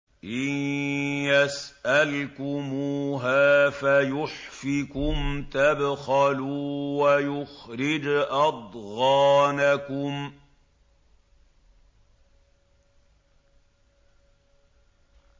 إِن يَسْأَلْكُمُوهَا فَيُحْفِكُمْ تَبْخَلُوا وَيُخْرِجْ أَضْغَانَكُمْ